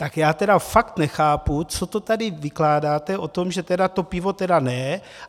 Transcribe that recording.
Tak já tedy fakt nechápu, co to tady vykládáte o tom, že to pivo tedy ne.